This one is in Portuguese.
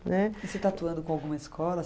Né? E você está atuando com alguma escola?